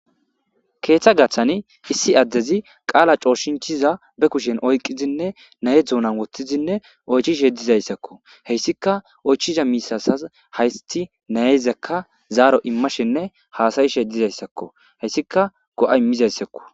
Keeththa gathani issi addezi qaala cooshinchiza be kushen oyqizinne naye dzuunan woththizinne oychishe dizayssakko heyssika oychiza miisasas haysti nayezakka zaaro immashinne haasayishe dizayssakko heyssika go7a mizayssakko.